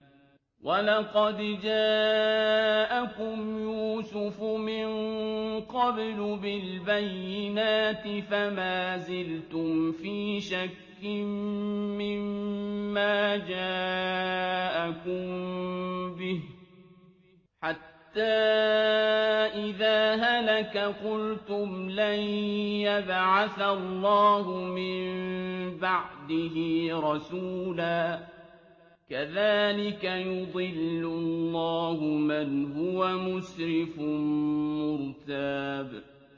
وَلَقَدْ جَاءَكُمْ يُوسُفُ مِن قَبْلُ بِالْبَيِّنَاتِ فَمَا زِلْتُمْ فِي شَكٍّ مِّمَّا جَاءَكُم بِهِ ۖ حَتَّىٰ إِذَا هَلَكَ قُلْتُمْ لَن يَبْعَثَ اللَّهُ مِن بَعْدِهِ رَسُولًا ۚ كَذَٰلِكَ يُضِلُّ اللَّهُ مَنْ هُوَ مُسْرِفٌ مُّرْتَابٌ